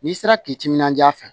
N'i sera k'i timinanja fɛ